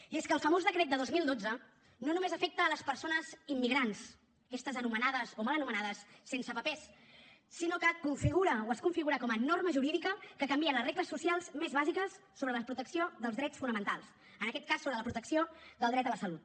i és que el famós decret de dos mil dotze no només afecta les persones immigrants aquestes anomenades o mal anomenades sense papers sinó que configura o es configura com a norma jurídica que canvia les regles socials més bàsiques sobre la protecció dels drets fonamentals en aquest cas sobre la protecció del dret a la salut